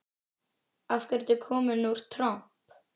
Af hverju kom út tromp?